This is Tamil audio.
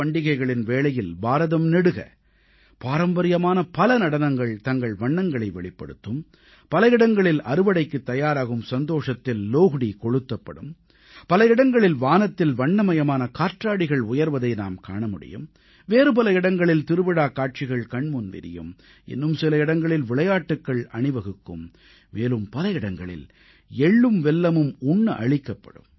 எனதருமை நாட்டுமக்களே ஜனவரியில் உற்சாகமும் உல்லாசமும் கொப்பளிக்கும் பல பண்டிகைகள் வரவிருக்கின்றன லோஹ்டீ பொங்கல் மகர சங்கராந்தி உத்தராயணம் மாக பிஹு மாகீ என இந்த அனைத்துப் பண்டிகைகளின் வேளையில் பாரதம் நெடுக பாரம்பரியமான பல நடனங்கள் தங்கள் வண்ணங்களை வெளிப்படுத்தும் பல இடங்களில் அறுவடைக்குத் தயாராகும் சந்தோஷத்தில் லோஹ்டீ கொளுத்தப்படும் பல இடங்களில் வானத்தில் வண்ணமயமான காற்றாடிகள் உயர்வதை நாம் காண முடியும் வேறு பல இடங்களில் திருவிழாக் காட்சிகள் கண்முன் விரியும் இன்னும் சில இடங்களில் விளையாட்டுக்கள் அணிவகுக்கும் மேலும் பல இடங்களில் எள்ளும் வெல்லமும் உண்ண அளிக்கப்படும்